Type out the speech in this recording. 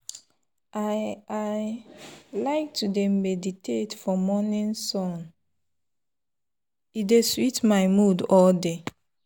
i i like to dey meditate for morning sun — e dey sweet my mood all day.